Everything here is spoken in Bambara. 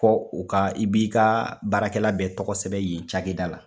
Ko u ka i b'i ka baarakɛla bɛɛ tɔgɔ sɛbɛ yen cakɛda la